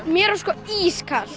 mér var sko ískalt